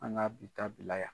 An ŋa bi ta bila yan!